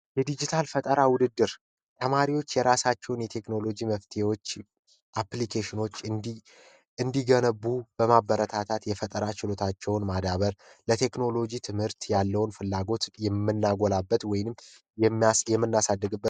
የድጅታል ፈጠራ ውድድር ተማሪዎች የራሳቸውን የቴክኖሎጂ መፍትሄዎች አፕሊኬሽኖች እንዲገነቡ በማበረታታት የፈጠራ ችሎታቸውን ለቴክኖሎጂ ትምህርት ያለውን ፍላጎት የምናጎላበት ወይም የመናሳድግበት የምንደግፍበት ነው።